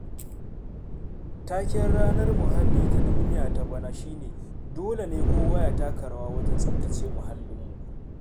Taken Ranar Muhalli ta Duniya ta bana shi ne, ''Dole ne kowa ya taka rawa wajen tsaftace muhallinmu''.